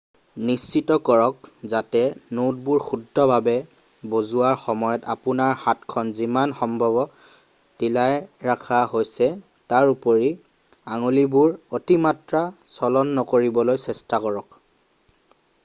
নিশ্চিত কৰক যাতে নোটবোৰ শুদ্ধ ভাৱে বজোৱাৰ সময়ত আপোনাৰ হাতখন যিমান সম্ভৱ ঢিলাই ৰখা হৈছে তাৰোপৰি আঙুলিবোৰৰ অতিমাত্ৰা চলন নকৰিবলৈ চেষ্টা কৰক